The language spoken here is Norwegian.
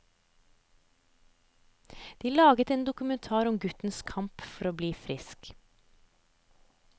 De laget en dokumentar om guttens kamp for å bli frisk.